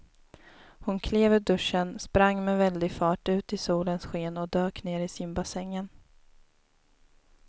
Hon klev ur duschen, sprang med väldig fart ut i solens sken och dök ner i simbassängen.